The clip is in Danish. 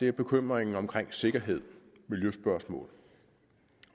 er bekymringen omkring sikkerhed miljøspørgsmål